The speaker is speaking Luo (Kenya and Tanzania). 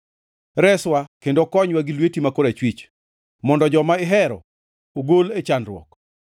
Reswa kendo konywa gi lweti ma korachwich mondo joma ihero ogol e chandruok.